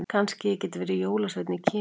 Kannski ég geti verið jólasveinn í Kína.